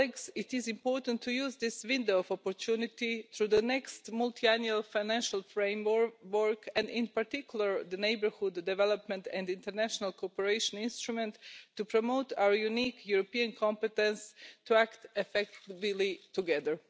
It is important to use this window of opportunity through the next Multiannual Financial Framework, and in particular the Neighbourhood, Development and International Cooperation Instrument, to promote our unique European competence to act effectively together.